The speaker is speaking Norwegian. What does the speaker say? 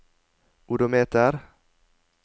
odometer